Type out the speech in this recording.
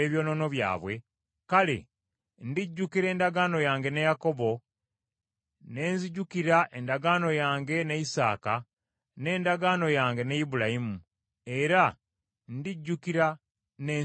kale ndijjukira endagaano yange ne Yakobo, ne nzijukira endagaano yange ne Isaaka n’endagaano yange ne Ibulayimu, era ndijjukira n’ensi yaabwe.